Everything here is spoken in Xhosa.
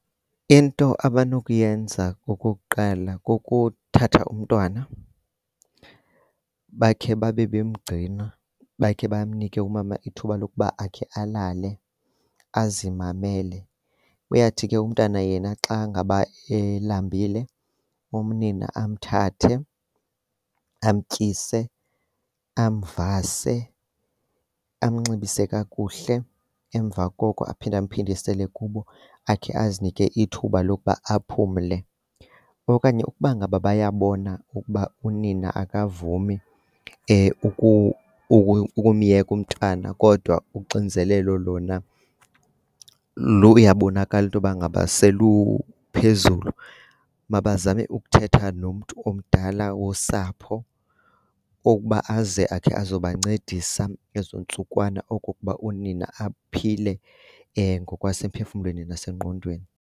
Into abanokuyenza okokuqala kukuthatha umntwana bakhe babe bemgcina, bakhe banike umama ithuba lokuba akhe alale azimamele. Uyawuthi ke umntwana yena xa ngaba elambile, unina amthathe amtyise, amvase, amnxibise kakuhle. Emva koko aphinde emphindisele kubo akhe azinike ithuba lokuba aphumle. Okanye ukuba ngaba bayabona ukuba unina akavumi ukumyeka umntana kodwa uxinzelelo luyawabonakala intoba ngaba seluphezulu, mabazame ukuthetha nomntu omdala wosapho okuba aze akhe azobancedisa ezo ntsukwana oku kokuba unina aphile ngokwasemphefumlweni nasengqondweni.